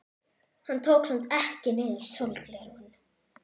Hann tók samt ekki niður sólgleraugun.